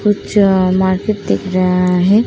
कुछ मार्केट दिख रहा है।